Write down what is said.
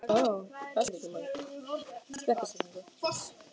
Finna sannleika þinn blossa inni í mér.